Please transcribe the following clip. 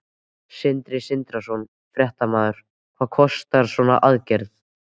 Sindri Sindrason, fréttamaður: Hvað kostar svona aðgerð?